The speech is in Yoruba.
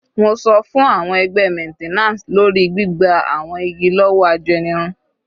Mo sọ fún àwọn ẹgbẹ́ maintenance lórí gbígba àwọn igi lọ́wọ́ ajẹnirun.